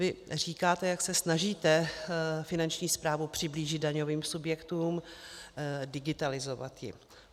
Vy říkáte, jak se snažíte Finanční správu přiblížit daňovým subjektům, digitalizovat ji.